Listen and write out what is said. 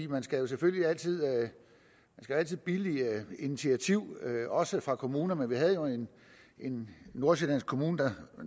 man skal selvfølgelig altid altid billige initiativ også fra kommuner men vi havde jo en nordsjællandsk kommune der